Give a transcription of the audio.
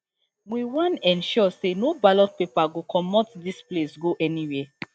we wan ensure say no ballot paper go comot dis place go anywhere